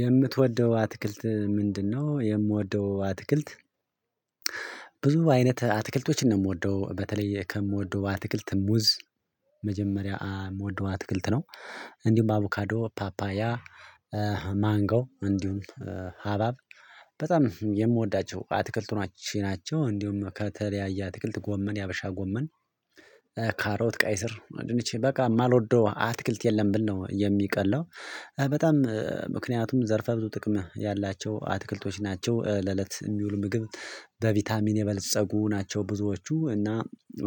የምትወደው አትክልት ምንድነው? የምወደው አትክልት ብዙ አይነት አትክልቶችን ነው የምወደው በተለይ ከምወደው በአትክልት ሙዝ መጀመሪያ የምወደው አትክልት ነው። እንዲሁም በአቡካዶ ፓፓያ ማንጎ እንዲሁም ሀባብ በጣም የምወዳቸው አትክልቶች ናቸው። እንዲሁም ከተለያየ አትክልት ጎመን የሀበሻ ጎመን ካሮት ቀይ ስር ድንቼ በቃ የማልወደው አትክልት የለም ብል ነው የሚቀላው። በጣም ምክንያቱም ዘርፈ ብዙ ጥቅም ያላቸው አትክልቶች ናቸው ለእለት የሚውል ምግብ በቫይታሚን የበለፀጉ ናቸው። ብዙዎቹ እና